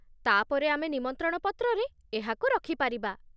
ତା'ପରେ ଆମେ ନିମନ୍ତ୍ରଣ ପତ୍ରରେ ଏହାକୁ ରଖିପାରିବା